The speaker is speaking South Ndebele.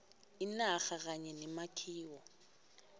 inarha kanye nemakhiwo